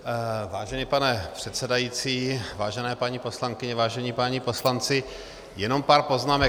Vážený pane předsedající, vážené paní poslankyně, vážení páni poslanci, jenom pár poznámek.